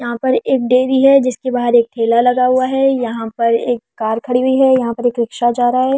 यहां पर एक डेयरी है जिसके बाहर एक ठेला लगा हुआ है यहां पर एक कार खड़ी हुई है यहां पर एक रिक्शा जा रहा है।